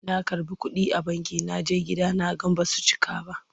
Na karɓi kuɗi a banki na je gida na ga ba su cika ba.